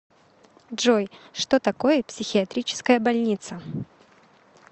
джой что такое психиатрическая больница